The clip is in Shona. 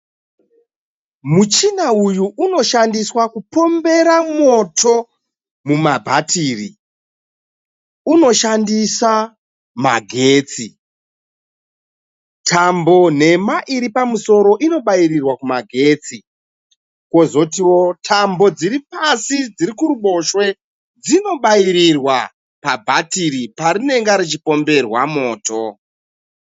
Muchina uyu unoshandiswa kupombera moto mumabhatiri. Unoshandisa magetsi. Tambo nhema iri kumusoro inobayirirwa kumagetsi. Kozotiwo tambo dziri pasi dziri kuruboshwe dzinobayirirwa pabhatiri parinenge richipomberwa moto.